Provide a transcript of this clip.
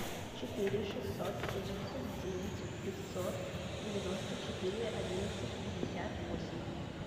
четыре шестьсот семьдесят девять пятьсот девяносто четыре одиннадцать пятьдесят восемь